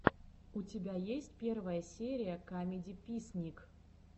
у тебя есть первая серия камедиписник